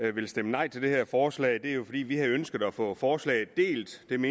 vi vil stemme nej til det her forslag det er jo fordi vi havde jo ønsket at få forslaget delt men